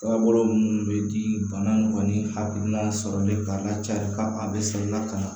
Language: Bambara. Ka bolo minnu bɛ di bana kɔni hakilina sɔrɔli b'a la cari ka a bɛ saniya ka na